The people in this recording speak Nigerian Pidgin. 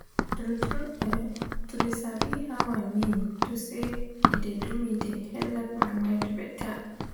tru tru[um]to de sabi how i mean to say e de do me de helep my mind beta